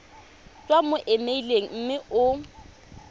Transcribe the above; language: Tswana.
tswa mo emeileng mme o